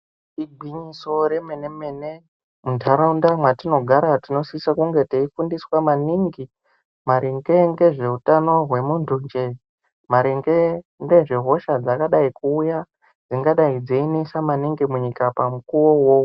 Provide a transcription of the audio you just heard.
Igwinyiso romene mene muntaraunda metinogara tinosise kunge tichifundiswa maningi maringe ngezveutano hwemuntu njee maringe nezvehosha dzakadai kuuya dzingadai dziinetsa maningi munyika pamukuwo uwowo.